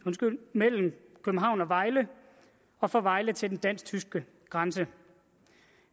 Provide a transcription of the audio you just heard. mellem københavn og vejle og fra vejle til den dansk tyske grænse